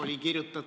Aitäh!